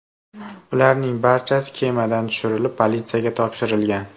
Ularning barchasi kemadan tushirilib, politsiyaga topshirilgan.